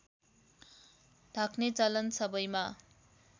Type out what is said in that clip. ढाक्ने चलन सबैमा